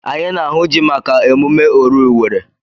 Anyị na-ahụ ji maka emume oru Iwere.